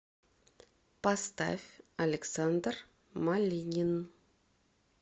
поставь александр малинин